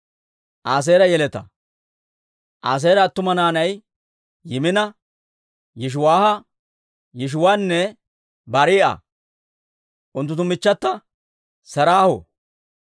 Aaseera attuma naanay Yimina, Yishiwaaha, Yishiwaanne Barii'a; unttunttu michchata Seraaho.